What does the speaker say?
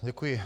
Děkuji.